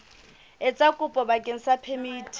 etsa kopo bakeng sa phemiti